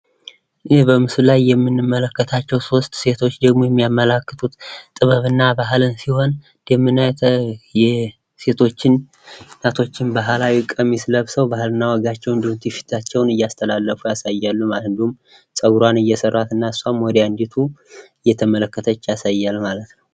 ይህ በምስል ላይ የምንመለከታቸዉ 3 ሴቶች ደግሞ የሚያመላክቱት ጥበብ እና ባህልን ሲሆን፤ የሴቶችን የእናቶችን ባህላዊ ቀሚስ ለብሰዉ ባህል እና ወጋቸዉን እንዲሁም ቱፊታቸዉን እያስተላለፉ ያሳያሉ ማለት ነዉ። እንዲሁም ፀጉራን አሰየሰራች ወደ አንዲቱ እየተመለከተች ያሳያል ማለት ነዉ።